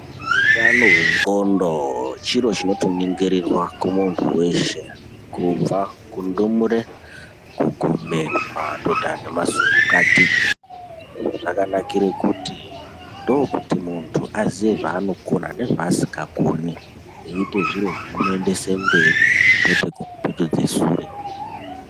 Utano hwendxondo chiro chinotoningirirwa kumunthu weshe kubva kundumure kuguma kumadhodha nemasukukati izvi zvakanakira kuti ndookuti munthu aziye zvaanokona nezvaasingakoni eiite zviro zvinoendese mberi kwete kupetudze sure.